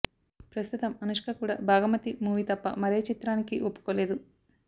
ప్రస్తుతం అనుష్క కూడా భాగమతి మూవీ తప్ప మారే ఏ చిత్రానికి ఒప్పుకోలేదు